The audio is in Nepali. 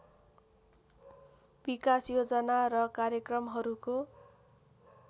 विकास योजना र कार्यक्रमहरूको